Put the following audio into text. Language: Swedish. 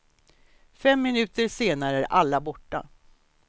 Fem minuter senare är alla borta.